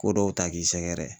Ko dɔw ta k'i sɛgɛrɛ.